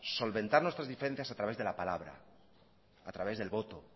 solventar nuestras diferencias a través de la palabra a través del voto